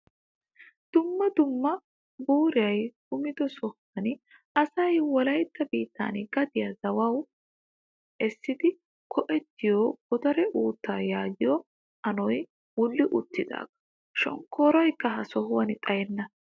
Dumma dumma buurayi kumido sohan asayi wolayitta biittan gadiyaa zawawu essidi go'ettiyoo godare uuttaa yaagiyoo anoyi wulli uttaagaa. Shooshshayikka ha sohan xayenna.